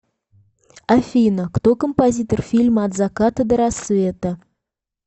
афина кто композитор фильма от заката до рассвета